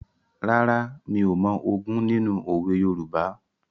Rárá, mi ò mọ ogún nínú òwe Yorùbá.